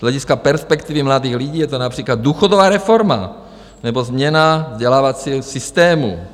Z hlediska perspektivy mladých lidí je to například důchodová reforma nebo změna vzdělávacího systému."